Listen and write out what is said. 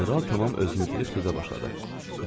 General tamam özünü itirib sözə başladı.